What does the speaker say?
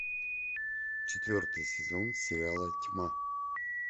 четвертый сезон сериала тьма